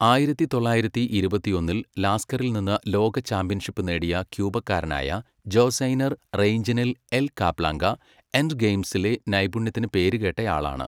ആയിരത്തി തൊള്ളായിരത്തി ഇരുപത്തിയൊന്നിൽ ലാസ്ക്കറിൽ നിന്ന് ലോക ചാമ്പ്യൻഷിപ്പ് നേടിയ ക്യൂബക്കാരനായ ജോസ്സൈനർ റെയ്ഞ്ചൈനൽ എൽ കാപ്ളാങ്ക, എൻഡ്ഗെയിംസിലെ നൈപുണ്യത്തിന് പേരുകേട്ടയാളാണ്.